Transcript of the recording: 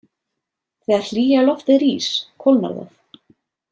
Þegar hlýja loftið rís kólnar það.